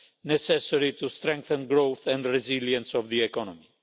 necessary to strengthen growth and the resilience of the economy.